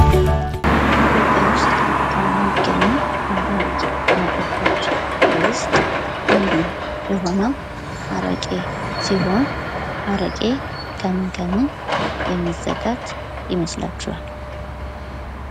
ኢትዮጵያ ውስጥ ከሚገኙ ባህላዊ መጠጦች ውስጥ አንዱ የሆነው አረቄ ሲሆን አረቄ ከምን ከምን የሚዘጋጅ ይመስላችኋል ?